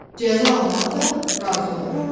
Cəza almağa da razı olaram.